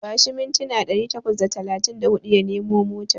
Bashi mintina ɗari takwas da talatin da huɗu ya nemo motar.